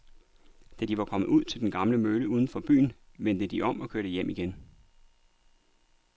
Da de var kommet ud til den gamle mølle uden for byen, vendte de om og kørte hjem igen.